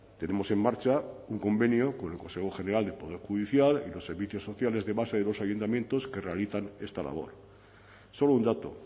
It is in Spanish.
tenemos en marcha un convenio con el consejo general del poder judicial y los servicios sociales de base de los ayuntamientos que realizan esta labor solo un dato